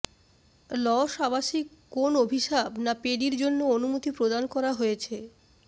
loss আবাসিক কোন অভিশাপ না পেডির জন্য অনুমতি প্রদান করা হয়েছে